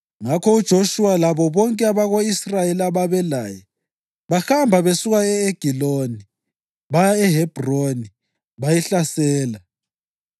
Ngakho uJoshuwa labo bonke abako-Israyeli ababelaye bahamba besuka e-Egiloni baya eHebhroni bayihlasela.